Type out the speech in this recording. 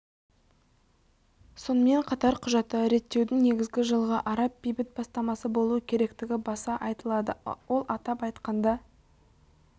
сонымен қатар құжатта реттеудің негізі жылғы араб бейбіт бастамасы болуы керектігі баса айтылады ол атап айтқанда